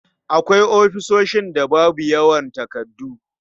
Akwai ofisoshin da babu yawan takardu.